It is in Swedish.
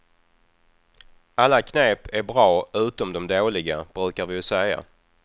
Alla knep är bra utom de dåliga, brukar vi ju säga.